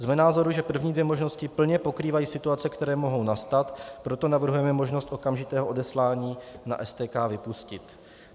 Jsme názoru, že první dvě možnosti plně pokrývají situace, které mohou nastat, proto navrhujeme možnost okamžitého odeslání na STK vypustit.